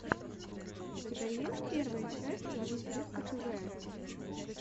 у тебя есть первая часть ловись рыбка тв